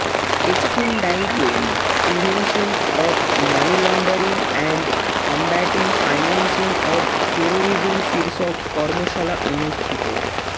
Exim ব্যাংকে prevention of money laundering and combating financing of terrorism শীর্ষক কর্মশালা অনুষ্ঠিত